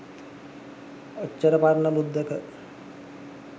ඔච්චර පරණ මුද්දක